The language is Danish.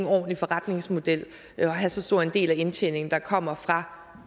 ordentlig forretningsmodel at have så stor en del af indtjeningen der kommer